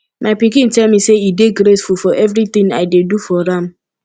my pikin tell me say e dey grateful for everything i dey do for am